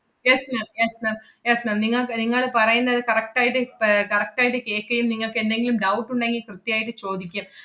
yes ma'am yes ma'am yes ma'am നിങ്ങക്ക് നിങ്ങള് പറയുന്നത് correct ആയിട്ട് പ~ ഏർ correct ആയിട്ട് കേക്കേം നിങ്ങക്ക് എന്തെങ്കിലും doubt ഉണ്ടെങ്കി കൃത്യായിട്ട് ചോദിക്കും.